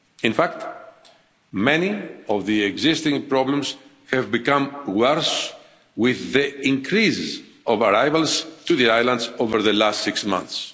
In fact, many of the existing problems have become worse with an increase of arrivals to the islands over the last six months.